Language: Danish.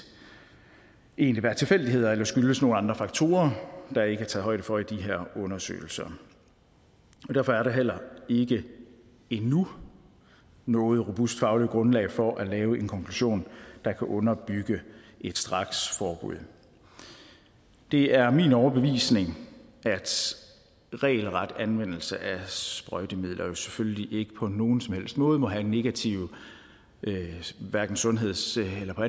egentlig være en tilfældighed eller skyldes andre faktorer der ikke er taget højde for i de her undersøgelser derfor er der heller ikke endnu noget robust fagligt grundlag for at lave en konklusion der kan underbygge et straksforbud det er min overbevisning at regelret anvendelse af sprøjtemidler selvfølgelig ikke på nogen som helst måde må have negative sundhedsmæssige eller